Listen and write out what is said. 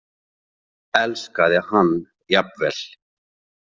Elskaði hann jafnvel.